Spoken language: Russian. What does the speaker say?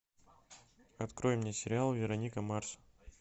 открой мне сериал вероника марс